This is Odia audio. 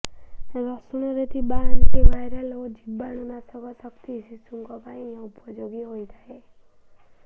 ରସୁଣରେ ଥିବା ଆଣ୍ଟିଭାଇରାଲ ଓ ଜୀବାଣୁ ନାଶକ ଶକ୍ତି ଶିଶୁଙ୍କ ପାଇଁ ଉପଯୋଗୀ ହୋଇଥାଏ